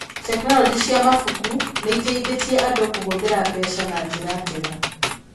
Tekinoronjĩ cia mabuku nĩ iteithĩtie andũ kũhũthĩra mbeca na njĩra njega.